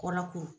Kɔlɔko